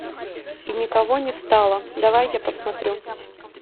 и никого не стало давай я посмотрю